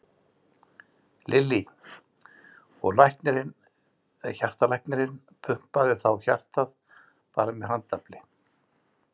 Lillý: Og læknirinn, hjartalæknirinn pumpaði þá hjartað bara með handafli?